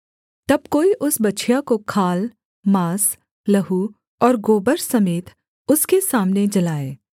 तब कोई उस बछिया को खाल माँस लहू और गोबर समेत उसके सामने जलाए